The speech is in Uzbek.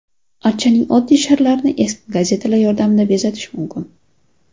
Archaning oddiy sharlarini eski gazetalar yordamida bezatish mumkin.